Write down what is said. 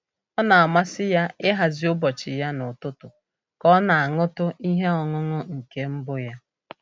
Ọ na-amasị ya ịhazi ụbọchị ya n'ụtụtụ ka ọ na-aṅụtụ ihe ọṅụṅụ nke mbụ ya.